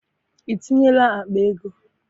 I tinyela akpa ego?